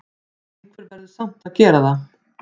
Einhver verður samt að gera það!